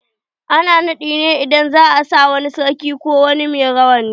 Ana naɗi ne idan za'a sa wa sarki ko wani mai take rawani.